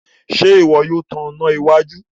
Ṣe iwọ yóò tàn iná iwájú?